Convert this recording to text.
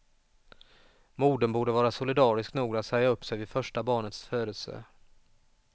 Modern borde vara solidarisk nog att säga upp sig vid första barnets födelse.